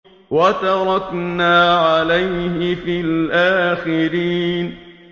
وَتَرَكْنَا عَلَيْهِ فِي الْآخِرِينَ